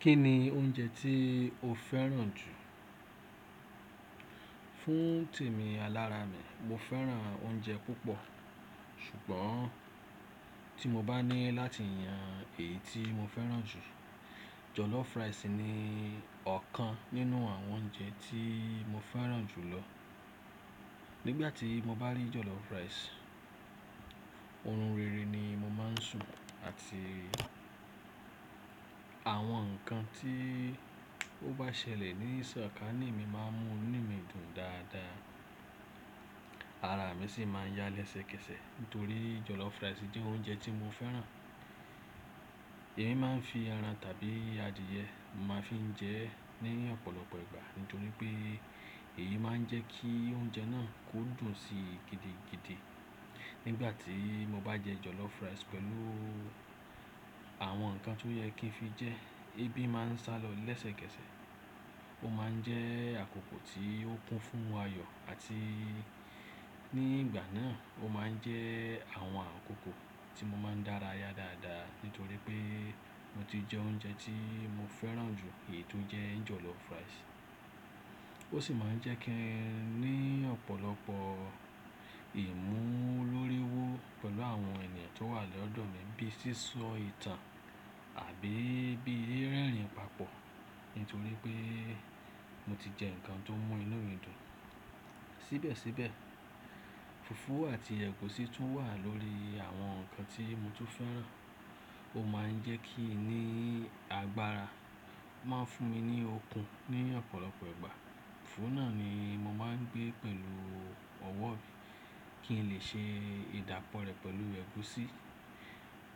Kí ni oúnjẹ tí ó fẹ́ràn jù? Fún tèmi, alára mi, mo fẹ́ràn oúnjẹ púpọ̀. Ṣùgbọ́n tí mo bá ní láti yan èyí tí mo fẹ́ràn jù, jọ̀lọ́fù rásì ni ọ̀kan nínú àwọn oúnjẹ tí mo fẹ́ràn jù lọ. Nígbà tí mo bá rí jọ̀lọ́fù rásì, oorun rere ni mo máa ń sùn àti àwọn ǹkan tí ó bá ṣẹlẹ̀ ní sọ̀kalẹ̀ mi máa ń mú inú mi dùn dáadáa. Ara mi sì máa ń yálẹ́sẹkẹsẹ̀ nítorí jọ̀lọ́fù rásì jẹ́ oúnjẹ tí mo fẹ́ràn. Èmi máa ń fi ẹran tàbí adìẹ, màá fi ń jẹ ẹ́ ní ọ̀pọ̀lọpọ̀ ìgbà nítorí pé èyí máa ń jẹ́ kí oúnjẹ náà kó dùn sí gidi gidi. Nígbà tí mo bá jẹ jọ̀lọ́fù rásì pẹ̀lú àwọn ǹkan tó yẹ kí n fi jẹ́, ẹbí máa ń sálọ lẹ́sẹkẹsẹ̀. Ó máa ń jẹ́ àkókò tí ó kún fún ayọ̀ àti ní ìgbà náà ó máa ń jẹ́ àwọn àkókò tí mo máa ń dára ya dáadáa nítorí pé mo ti jẹ oúnjẹ tí mo fẹ́ràn jù èyí tó jẹ́ jọ̀lọ́fù rásì. Ó sì máa ń jẹ́ kí n ní ọ̀pọ̀lọpọ̀ ìmúlóríwó pẹ̀lú àwọn ènìyàn tó wà lọ́dọ̀ mi bíi sísọ ìtàn àbí bíi rẹ́rìn-ín papọ̀ nítorí pé mo ti jẹ nǹkan tó mú inú midun. Síbẹ̀síbẹ̀, fùfú àti ẹ̀gúsí tún wà lórí àwọn ǹkan tí mo tún fẹ́ràn. Ó máa ń jẹ́ kí n ní agbára, máa ń fún mi ní okun ní ọ̀pọ̀lọpọ̀ ìgbà. Fùfú náà ni mo máa ń gbé pẹ̀lú ọwọ́ mi kí n lè ṣe ìdápọ̀ rẹ̀ pẹ̀lú ẹ̀gúsí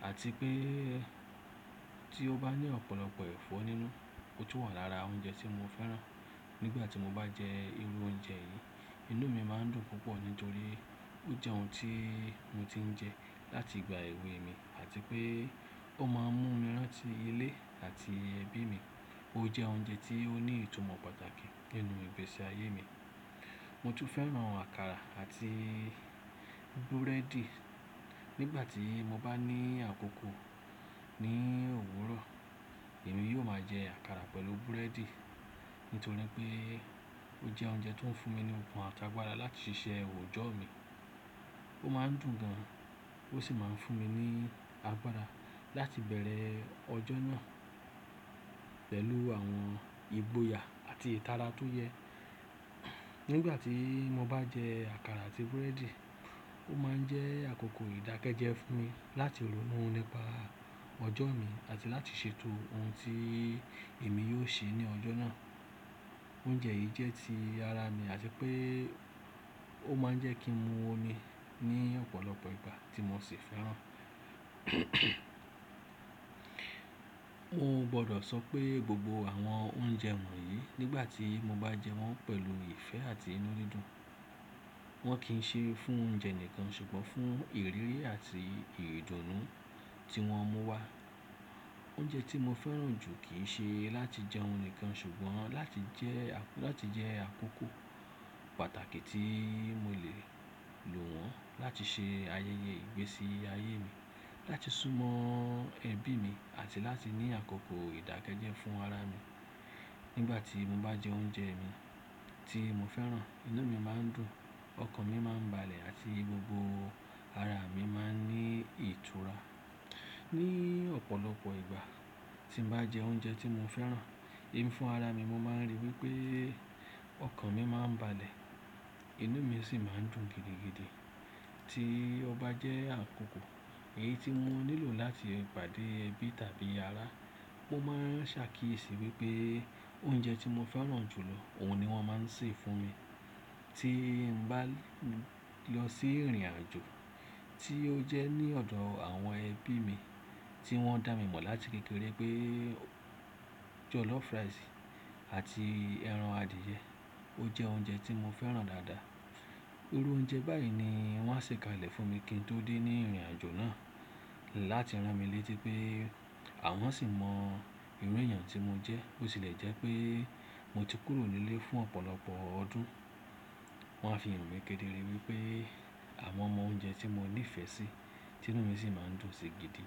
àti pé tí ó bá ní ọ̀pọ̀lọpọ̀ ẹ̀fọ́ nínú ó tún wà lára oúnjẹ tí mo fẹ́ràn. Nígbà tí mo bá jẹ irú oúnjẹ yìí, inú mi máa ń dùn púpọ̀ nítorí ó jẹ́ ohun tí mo ti ń jẹ láti ìgbà èwe mi àti pé ó máa ń mú mi rán tí ilé àti ẹbí mi. Ó jẹ́ oúnjẹ tí ó ní ìtumọ̀ pàtàkì nínú ìgbésí ayé mi. Mo tún fẹ́ràn àkàrà àti búrẹ́dì. Nígbà tí mo bá ní àkókò ní òwúrọ̀, èmi yóò máa jẹ àkàrà pẹ̀lú búrẹ́dì nítorí pé ó jẹ́ oúnjẹ tó ń fún mi ní okun àtàgbàrá láti ṣiṣẹ́ òòjọ́ mi. Ó máa ń dùn gan an ó sì máa ń fún mi ní agbára láti bẹ̀rẹ̀ ọjọ́ náà pẹ̀lú àwọn ìgboyà àti ìtara tó yẹ. Nígbà tí mo bá jẹ àkàrà àti búrẹ́dì, ó máa ń jẹ́ àkókò ìdákẹ́jẹ́ fún mi láti ronú nípa ọjọ́ mi àti láti ṣètò ohun tí èmi yóò ṣe ní ọjọ́ náà. Oúnjẹ yìí jẹ́ ti ara mi àti pé ó máa ń jẹ́ kí n mu omi ní ọ̀pọ̀lọpọ̀ ìgbà tí mo sì fẹ́ràn. Mo gbọdọ̀ sọ pé gbogbo àwọn oúnjẹ wọ̀nyí nígbà tí mo bá jẹ wọ́n pẹ̀lú ìfẹ́ àti inú ridun, wọ́n kì í ṣe fún oúnjẹ nìkan ṣùgbọ́n fún ìrírí àti ìrìndùnú tí wọ́n mú wá. Oúnjẹ tí mo fẹ́ràn jù kì í ṣe láti jẹun nìkan ṣùgbọ́n láti jẹ àkókò pàtàkì tí mo le lò wọ́n láti ṣe ayẹyẹ ìgbésí ayé mi, láti súnmọ́ ẹbí mi àti láti ní àkókò ìdákẹ́jẹ́ fún ara mi. Nígbà tí mo bá jẹ oúnjẹ mi tí mo fẹ́ràn, inú mi máa ń dùn, ọkàn mi máa ń balẹ̀ àti gbogbo ara mi máa ń ní ìtura. Ní ọ̀pọ̀lọpọ̀ ìgbà tí n bá jẹ oúnjẹ tí mo fẹ́ràn, èmi fún ara mi mo máa ń ríi wí pé ọkàn mi máa ń balẹ̀, inú mi sì máa ń dùn gidigidi. Tí ọba jẹ́ àkókò èyí tí mo nílò láti pàdé ẹbí tàbí ará, ó máa ń ṣàkíyèsí wí pé oúnjẹ tí mo fẹ́ràn jù lọ, òun ni wọ́n máa ń ṣe fún mi. Tí n bá lọ sí ìrìnàjò tí ó jẹ́ ní ọ̀dọ̀ àwọn ẹbí mi tí wọ́n dá mi mọ̀ láti kékeré pé jọ̀lọ́fù rásì àti ẹran adìẹ, ó jẹ́ oúnjẹ tí mo fẹ́ràn dáadáa. Irú oúnjẹ báyìí ni wọ́n a ṣe ka ilẹ̀ fún mi kí n tó dé ní ìrìnàjò náà láti rán mi létí pé àwọn sì mọ irú èèyàn tí mo jẹ́. Ó sì le jẹ́ pé mo ti kúrò nílé fún ọ̀pọ̀lọpọ̀ ọdún, wọ́n á fi irun mi kéde ríi wí pé àwọn mọ oúnjẹ tí mo ní ìfẹ́ sí, tí inú mi sì máa ń dùn sí gidi.